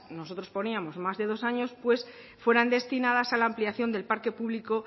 nosotros poníamos más de dos años pues fueran destinadas a la ampliación del parque público